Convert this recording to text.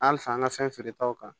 An fa an ka fɛn feere taw kan